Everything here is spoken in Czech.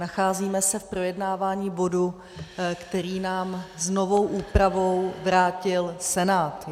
Nacházíme se v projednávání bodu, který nám s novou úpravou vrátil Senát.